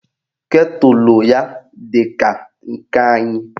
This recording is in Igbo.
Ketụlụ ya dị ka nke anyị